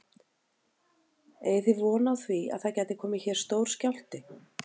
Eigið þið von á því að það gæti komið hér stór skjálfti?